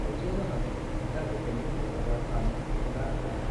खौसे जानानै जांखृथायनि हेफाजाब लानो थुलुंगा होनाया